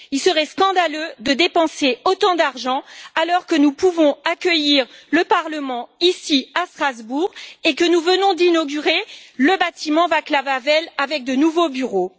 Il serait scandaleux de dépenser autant d'argent, alors que nous pouvons accueillir le Parlement ici à Strasbourg et que nous venons d'inaugurer le bâtiment Václav Havel avec de nouveaux bureaux.